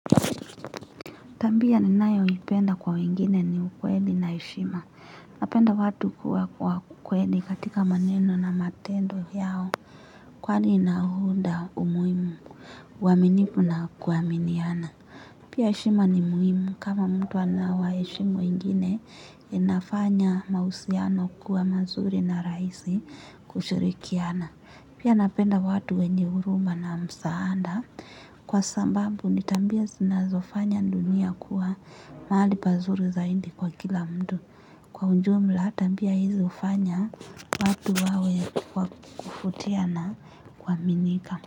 Tabia ninayoipenda kwa wengine ni ukweli na heshima. Napenda watu kuwa kwa kweli katika maneno na matendo yao. Kwani inaunda umuhimu uaminifu na kuaminiana. Pia heshima ni muhimu kama mtu anawaheshimu wengine inafanya mahusiano kuwa mazuri na rahisi kushirikiana. Pia napenda watu wenye huruma na msaada kwa sababu ni tabia zinazofanya dunia kuwa mahali pazuri zaidi kwa kila mtu. Kwa ujumla tabia hizi hufanya watu wawe wa kuvutia na kuaminika.